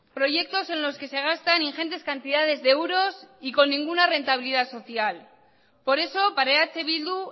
proyectos en los que se gastan ingentes cantidades de euros y con ninguna rentabilidad social por eso para eh bildu